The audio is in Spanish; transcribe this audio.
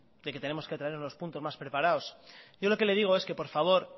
de que tenemos que traernos los puntos más preparados yo lo que le digo es que por favor